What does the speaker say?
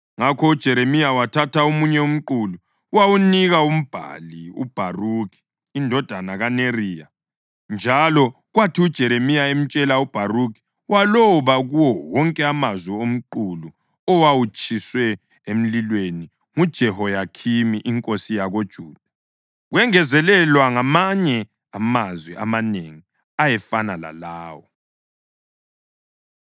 Ngakho uJeremiya wathatha omunye umqulu wawunika umbhali uBharukhi indodana kaNeriya, njalo kwathi uJeremiya emtshela uBharukhi waloba kuwo wonke amazwi omqulu owawutshiswe emlilweni nguJehoyakhimi inkosi yakoJuda. Kwengezelelwa ngamanye amazwi amanengi ayefana lalawo.